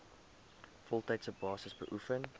voltydse basis beoefen